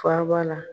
Faaba la